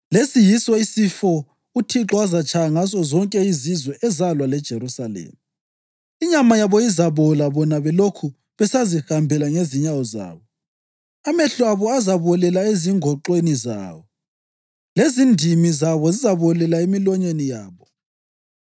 Lesi yiso isifo uThixo azatshaya ngaso zonke izizwe ezalwa leJerusalema. Inyama yabo izabola bona belokhu besazihambela ngezinyawo zabo, amehlo abo azabolela ezingoxweni zawo, lezindimi zabo zizabolela emilonyeni yabo.